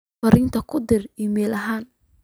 fariin ku dir iimayl ahaan